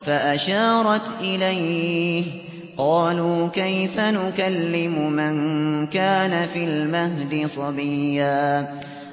فَأَشَارَتْ إِلَيْهِ ۖ قَالُوا كَيْفَ نُكَلِّمُ مَن كَانَ فِي الْمَهْدِ صَبِيًّا